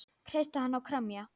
Kreista hana og kremja.